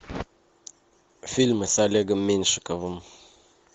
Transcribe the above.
фильмы с олегом меньшиковым